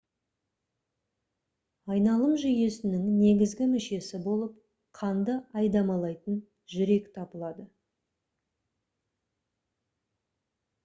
айналым жүйесінің негізгі мүшесі болып қанды айдамалайтын жүрек табылады